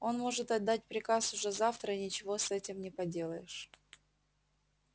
он может отдать приказ уже завтра и ничего с этим не поделаешь